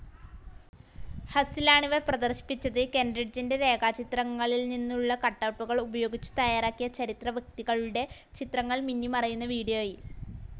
ഹസ്സിലാണിവ പ്രദർശിപ്പിച്ചത്. കെൻറിഡ്ജിൻ്റെ രേഖാചിത്രങ്ങളിൽ നിന്നുള്ള കട്ടൗട്ടുകൾ ഉപയോഗിച്ചു തയ്യാറാക്കിയ ചരിത്രവ്യക്തികളുടെ ചിത്രങ്ങൾ മിന്നിമറയുന്ന വീഡിയോയിൽ